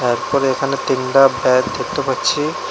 একবারে এখানে তিনডা ব্যাড দেখতে পাচ্ছি।